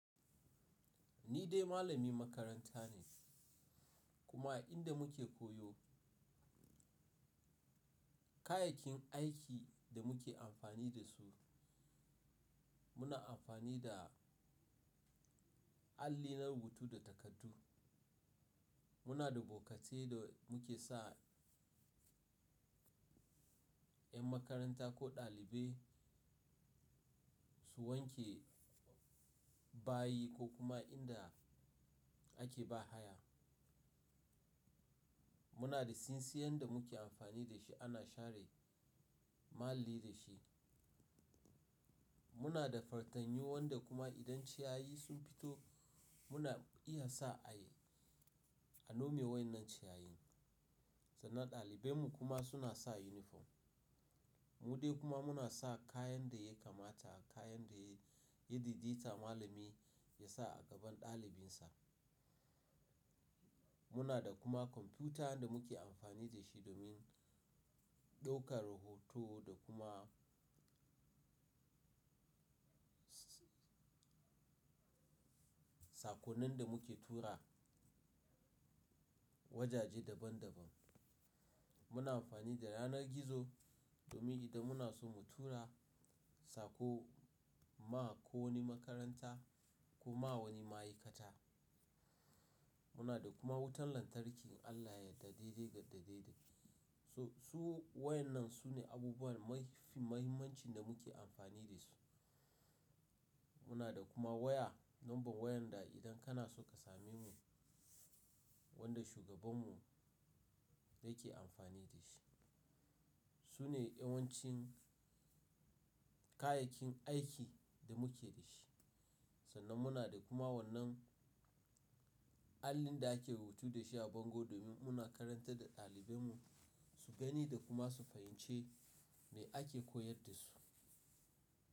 Ni dai malami makaranta ne kuma inda muke koyo, kayakin aikin da muke amfani da su, muna amfani da alli na rubutu da takardu. Muna da bokatai da muke sa 'yan makaranta ko ɗalibai su wanke bayi ko kuma inda ake ba haya. Muna da tsintsiyar da muke amfani da shi ana share muhalli da shi. Muna da fatanyu wanda kuma idan ciyayi sun fito muna iya sa a yi, a nome wai'innan ciyayin. Sannan ɗalibai mu kuma suna sa inifom. Mu dai kuma muna sa kayan da ya kamata, kayan da ya daidaita malami ya sa a gaban ɗalibin sa. Muna da kuma kwamfuta da muke amfani da shi domin ɗaukar hoto da kuma sakonnin da muke tura wajaje daban daban. Muna amfani da yanar gizo domin idan muna so mu tura sako ma ko wani makaranta ko ma wani ma'aikata. Muna da kuma wutan lantarki Allah ya daidai gadade de. So-- su waɗannan su ne abubuwan mafi muhimmancin da muke amfani da su. Muna da kuma waya, lambar wayar da idan kana so ka same mu wanda shugaban mu ya ke amfani da shi. Su ne yawancin kayayyakin aiki da muke da shi. Sannan muna da kuma wannan allin da ake rubutu da shi a bango domin muna karantar da ɗalibai mu su gani da kuma su fahimci me ake koyar da su.